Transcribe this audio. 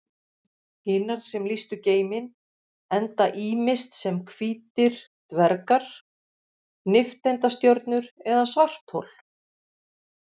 Hinar sem lýstu geiminn enda ýmist sem hvítir dvergar, nifteindastjörnur eða svarthol.